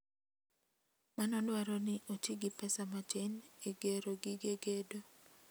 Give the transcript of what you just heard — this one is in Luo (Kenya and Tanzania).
Mano dwaro ni oti gi pesa matin e gero gige gedo.